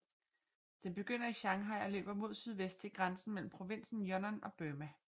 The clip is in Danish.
Den begynder i Shanghai og løber mod sydvest til grænsen mellem provinsen Yunnan og Burma